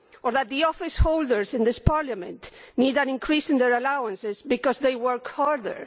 Or that the officeholders in this Parliament need an increase in their allowances because they work harder?